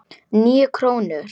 Níu krónur?